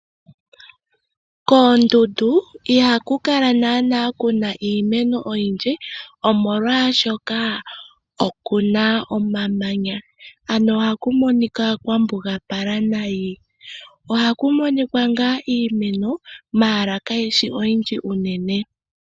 Koondundu ihaku kala naanaa kuna iimeno oyindji omolwaashoka okuna omamanya, ano ohaku monika kwa mbugapala nayi. Ohaku monika ngaa iimeno ndele kayishi oyindji unene.